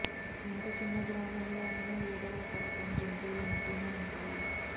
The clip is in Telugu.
ఎంత చిన్న గ్రామంలో అయిన ఏదో ఒక రకం జంతువులు ఉంటూనే ఉంటాయి